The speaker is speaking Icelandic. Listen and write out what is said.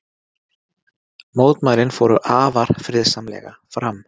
Mótmælin fóru afar friðsamlega fram